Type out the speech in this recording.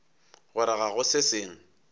gore ga go se sengwe